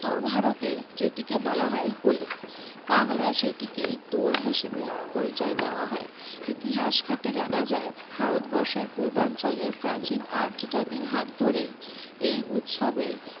উত্তর ভারতে যেটিকে বলা হয় হোলি, বাংলায় সেটিকেই দোল হিসেবে পরিচয় দেওয়া হয়। ইতিহাস ঘেঁটে জানা যায়, ভারত বর্ষের পূর্বাঞ্চলের প্রাচীন আর্য জাতির হাত ধরেই এই উৎসবের